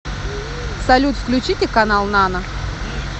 салют включите канал нано